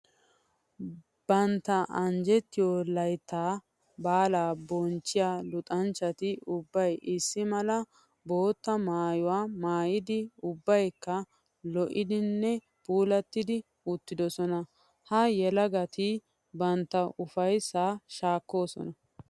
Bantta anjjettiyo laytta baalla bonchchiya luxanchchatti ubbay issi mala bootta maayuwa maayiddi ubbakka lo'iddinne puulatiddi uttidosonna. Ha yelagatti bantta ufayssa shaakosonna.